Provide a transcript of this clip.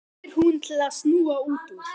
spyr hún til að snúa út úr.